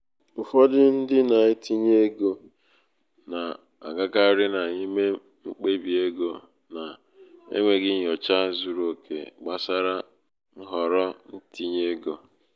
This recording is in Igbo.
ụfọdụ ndị na-etinye ego na-agakarị n'ịme mkpebi ego n’enweghị nnyocha um zuru oke gbasara nhọrọ um itinye um ego.